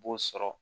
B'o sɔrɔ